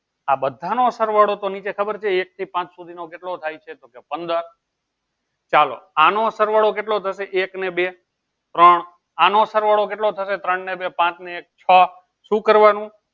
આ બધા નો સરવાળો તો નીચે ખબર છે એક થી લઇ ને પાંચ સુધી નો કેટલો થાય છે તો કેહ પંદર ચાલો આનું સરવાળો કેટલો થશે એક ને બે ત્રણ આનો સરવાળો કેટલો થશે ત્રણ ને બે પાંચ પાંચ ને એક છો શું કરવાનું